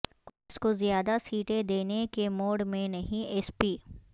کانگریس کو زیادہ سیٹیں دینے کے موڈ میں نہیں ایس پی